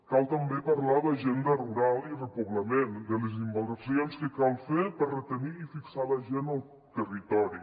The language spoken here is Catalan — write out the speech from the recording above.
cal també parlar d’agenda rural i repoblament de les inversions que cal fer per retenir i fixar la gent al territori